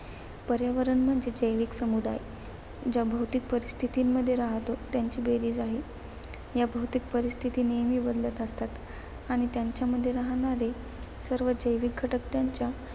पर्यावरण म्हणजे जैविक समूदाय ज्या भौतिक परिस्थितींमध्ये राहतो त्यांची बेरीज आहे. या भौतिक परिस्थिती नेहमी बदलत असतात आणि त्यांच्यामध्ये राहणारे सर्व जैविक घटक त्यांच्या